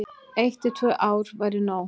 Eitt til tvö ár væri nóg.